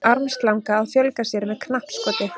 Armslanga að fjölga sér með knappskoti.